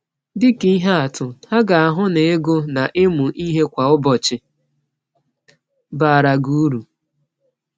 Dị ka ihe atụ, ha ga-ahụ na ịgụ na ịmụ ihe kwa ụbọchị baara gị uru.